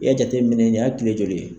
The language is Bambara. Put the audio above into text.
I y'a jateminɛ nin y'a kile joli ye.